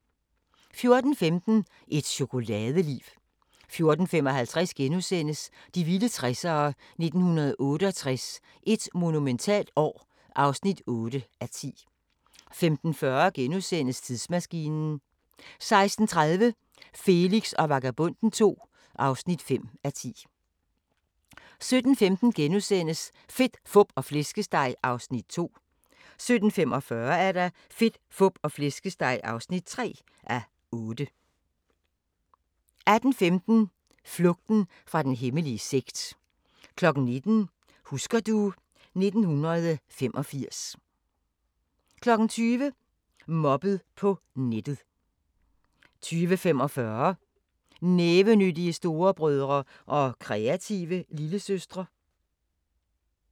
14:15: Et chokoladeliv 14:55: De vilde 60'ere: 1968 – et monumentalt år (8:10)* 15:40: Tidsmaskinen * 16:30: Felix og Vagabonden II (5:10) 17:15: Fedt, Fup og Flæskesteg (2:8)* 17:45: Fedt, Fup og Flæskesteg (3:8) 18:15: Flugten fra den hemmelige sekt 19:00: Husker du ... 1985 20:00: Mobbet på nettet 20:45: Nævenyttige storebrødre og kreative lillesøstre